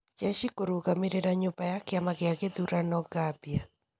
Njeci kũrũgamĩrĩra nyũmba ya kĩama gĩa gĩthurano Gambia.